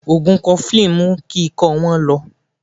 Ògùn Kọfilínì mú kí ikọ́ wọ́n lọ